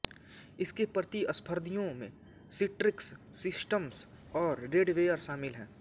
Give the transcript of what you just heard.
इसके प्रतिस्पर्धियों में सिट्रिक्स सिस्टम्स और रेडवेयर शामिल हैं